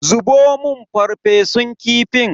Zubo mun farfesun kifin.